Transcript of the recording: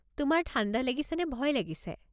তোমাৰ ঠাণ্ডা লাগিছেনে ভয় লাগিছে?